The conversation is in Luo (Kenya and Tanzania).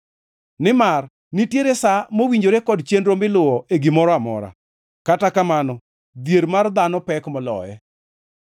Nimar nitiere sa mowinjore kod chenro miluwo e gimoro amora, kata kamano dhier mar dhano pek moloye.